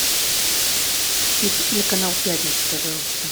включи телеканал пятница пожалуйста